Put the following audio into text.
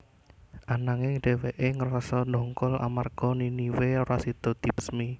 Ananging dhèwèké ngrasa ndongkol amarga Niniwe ora sida dibesmi